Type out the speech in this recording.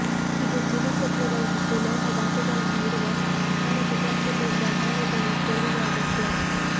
ಇದು ಜೀವಸತ್ವಗಳು ಮತ್ತು ಲೋಹ ಧಾತುಗಳನ್ನು ಇರುವ ಆಹಾರ ಪದಾರ್ಥಗಳಿಂದ ಆಹಾರದಲ್ಲಿ ಸೇರಿವೆ ಅಗತ್ಯ